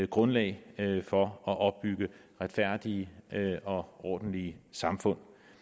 grundlag for at opbygge retfærdige og ordentlige samfund